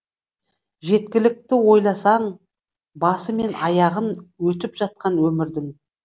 жеткілікті ойласаң басы мен аяғын өтіп жатқан өмірдің